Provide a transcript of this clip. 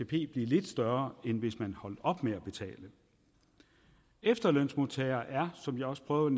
blive lidt større end hvis man holdt op med at betale efterlønsmodtagere er som jeg også prøvede